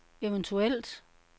eventuelt